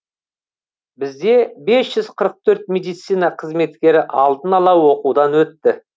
бізде бес жүз қырық төрт медицина қызметкері алдын ала оқудан өтті